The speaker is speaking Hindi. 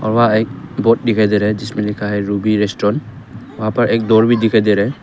हवा है बोर्ड दिखाई दे रहा है जिसमें लिखा है रूबी रेस्टोरेंट वहां पर एक दौर भी दिखाई दे रहा है।